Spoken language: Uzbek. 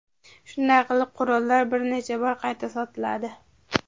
Shunday qilib qurollar bir necha bor qayta sotiladi.